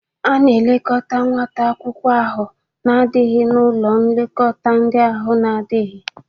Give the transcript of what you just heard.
A na-elekọta nwata akwụkwọ ahụ na-adaghị n'ụlọ nlekọta ndị ahụ na-adịghị.